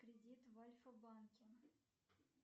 кредит в альфа банке